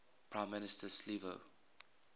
prime minister silvio